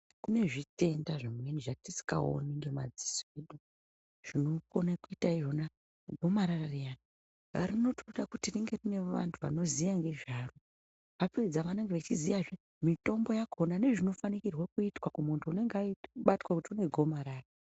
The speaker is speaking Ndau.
Kune zvitenda zvimweni zvtisingaoni nemadziso zvinokona kuita izvona gomarara riyani rinotoda kuti ringe rine vanthu vanoziye nezvaro vapedza vanenge vachiziya mitombo yakona nezvinofanira kuitwa kumunthu unenge abatwa negomarara.